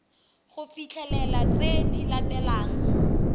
go fitlhelela tse di latelang